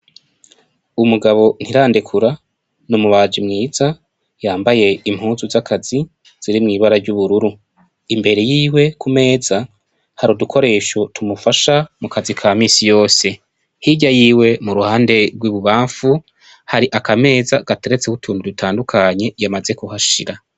Umugabo Ntirandekura n'umubaji mwiza yambaye impuzu z'akazi ziri mwibara ry'ubururu ,imbere yiwe ku meza hari udukoresho tumufasha mu kazi ka misi yose .Hirya yiwe mu ruhande rw'ububamfu hari akameza gatereteko utuntu dutandukanye yamaze kuhashira.